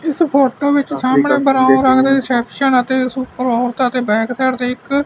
ਇਸ ਫੋਟੋ ਵਿੱਚ ਸਾਹਮਣੇ ਬਰਾਊਨ ਰੰਗ ਦੇ ਰਿਸੈਪਸ਼ਨ ਅਤੇ ਬੈਕ ਸਾਈਡ ਤੇ ਇੱਕ--